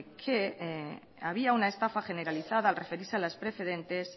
que había una estafa generalizada al referirse a las preferentes